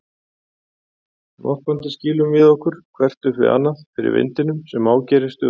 Norpandi skýlum við okkur hvert upp við annað fyrir vindinum sem ágerist stöðugt.